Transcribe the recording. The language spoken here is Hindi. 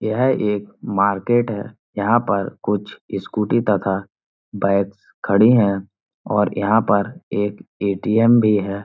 यह एक मार्केट है। यहाँ पर कुछ स्कूटी तथा बैकस खड़ी है और यहाँ पर एक ए.टी.एम. भी है.